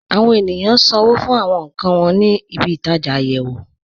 Àwọn ènìyàn ṣánwó̩ fún àwọn nkàn wọn ní ìbí-itaja ayéwò.